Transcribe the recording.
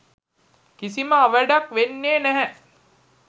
කිසිම අවැඩක් වෙන්නේ නැහැ.